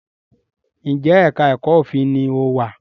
Njé èka èko òfin ní o wá?